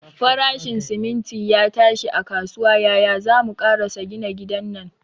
Farashin siminti ya tashi a kasuwa, yaya zamu karasa gina gidan nan?